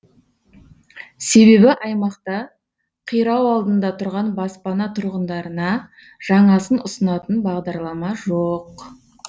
себебі аймақта қирау алдында тұрған баспана тұрғындарына жаңасын ұсынатын бағдарлама жоқ